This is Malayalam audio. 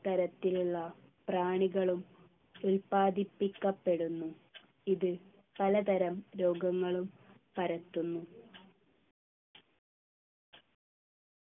ഇത്തരത്തിലുള്ള പ്രാണികളും ഉത്പാദിപ്പിക്കപ്പെടുന്നു ഇത് പലതരം രോഗങ്ങളും പരത്തുന്നു